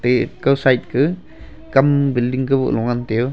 kau side ka kam building kaboh lo ngan tai yo.